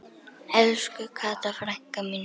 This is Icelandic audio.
Elsku Kata frænka mín.